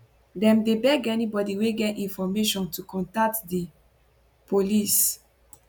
dem dey beg anybody wey get information to contact di police